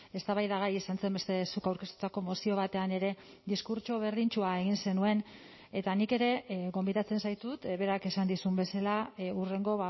eztabaidagai izan zen beste zuk aurkeztutako mozio batean ere diskurtso berdintsua egin zenuen eta nik ere gonbidatzen zaitut berak esan dizun bezala hurrengo